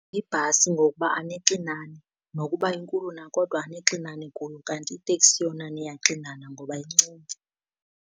Ibhasi ngokuba anixinani, nokuba inkulu na kodwa anixinani kuyo, kanti iteksi yona niyaxinana ngoba incinci.